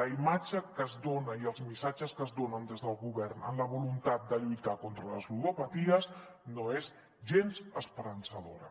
la imatge que es dona i els missatges que es donen des del govern amb la voluntat de lluitar contra les ludopaties no és gens esperançadora